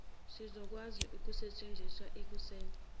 sizokwazi ukusheshisa ekususeni